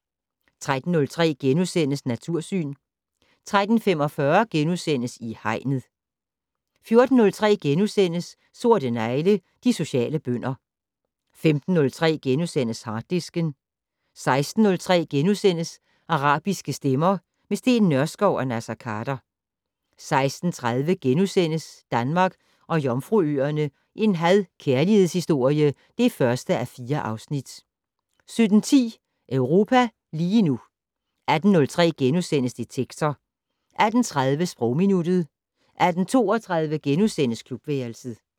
13:03: Natursyn * 13:45: I Hegnet * 14:03: Sorte negle: De sociale bønder * 15:03: Harddisken * 16:03: Arabiske stemmer - med Steen Nørskov og Naser Khader * 16:30: Danmark og Jomfruøerne - en had/kærlighedshistorie (1:4)* 17:10: Europa lige nu 18:03: Detektor * 18:30: Sprogminuttet 18:32: Klubværelset *